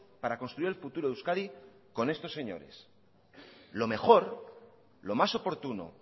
para construir el futuro de euskadi con estos señores lo mejor lo más oportuno